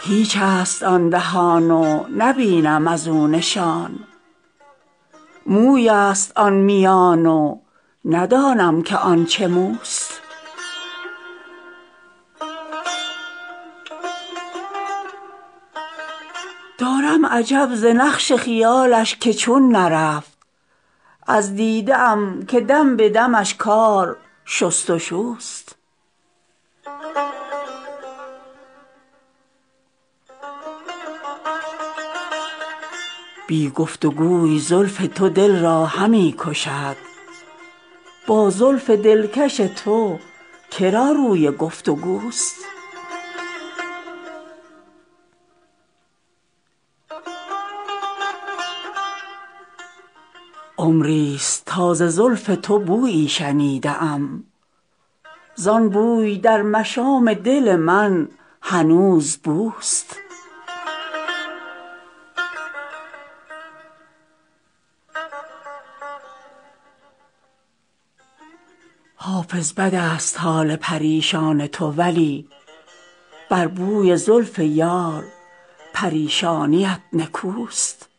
هیچ است آن دهان و نبینم از او نشان موی است آن میان و ندانم که آن چه موست دارم عجب ز نقش خیالش که چون نرفت از دیده ام که دم به دمش کار شست و شوست بی گفت و گوی زلف تو دل را همی کشد با زلف دلکش تو که را روی گفت و گوست عمری ست تا ز زلف تو بویی شنیده ام زان بوی در مشام دل من هنوز بوست حافظ بد است حال پریشان تو ولی بر بوی زلف یار پریشانیت نکوست